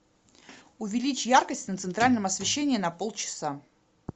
увеличь яркость на центральном освещении на полчаса